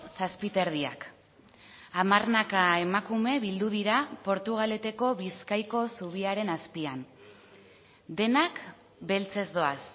zazpi eta erdiak hamarnaka emakume bildu dira portugaleteko bizkaiko zubiaren azpian denak beltzez doaz